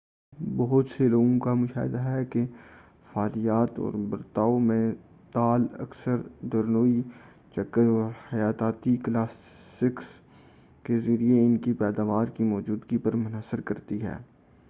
بہت سے لوگوں کا مشاہدہ ہے کہ فعلیات اور برتاؤ میں تال اکثر درنوئی چکر اور حیاتیاتی کلاکس کے ذریعہ ان کی پیداوار کی موجودگی پر منحصر کرتی ہے